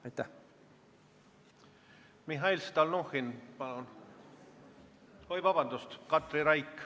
Katri Raik, palun!